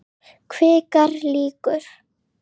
Kvikar líkur.